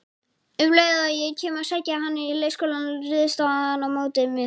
Um leið og ég kem að sækja hann í leikskólann, ryðst hann á móti mér